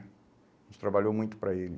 A gente trabalhou muito para ele.